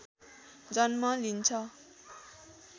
जन्म लिन्छ